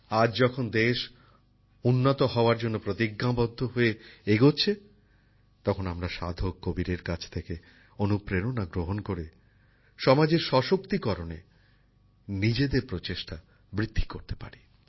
আজ যখন দেশ উন্নত হওয়ার জন্য প্রতিজ্ঞাবদ্ধ হয়ে এগোচ্ছে তখন আমরা সাধক কবীরের কাছ থেকে অনুপ্রেরণা গ্রহণ করে সমাজের ক্ষমতায়নে নিজেদের উদ্যোগ বৃদ্ধি করতে পারি